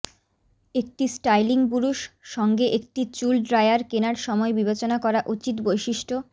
একটি স্টাইলিং বুরুশ সঙ্গে একটি চুল ড্রায়ার কেনার সময় বিবেচনা করা উচিত বৈশিষ্ট্য